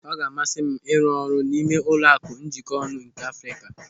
Ọ ga-amasị m ịrụ ọrụ n'ime Ụlọaku Njikonu nke Afrịka.